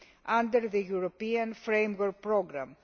under the European framework programme.